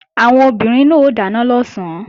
Àwọn obìnrin náà ó dáná lọ̀sán